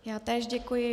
Já též děkuji.